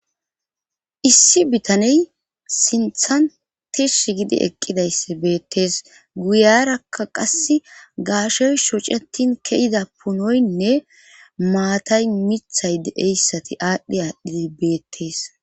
issi bitaney sinthan tishshi gidi eqqidayss beettees guyarakka qasse gaashoy shocetin ke'ida punoynne maatay mithay deeyssati aadhdhe aadhii beettees